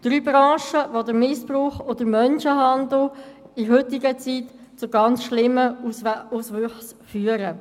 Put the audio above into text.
Das sind drei Branchen, wo der Missbrauch und der Menschenhandel in der heutigen Zeit zu ganz schlimmen Auswüchsen führen.